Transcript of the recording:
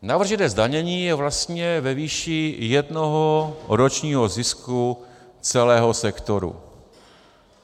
Navržené zdanění je vlastně ve výši jednoho ročního zisku celého sektoru.